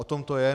O tom to je.